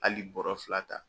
Hali bɔrɔ fila ta.